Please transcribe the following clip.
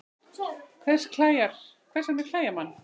Hvers vegna klæjar mann?